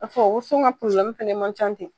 woson ka fana ma ca ten.